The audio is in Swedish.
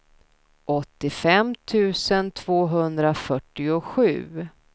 åttiofem tusen tvåhundrafyrtiosju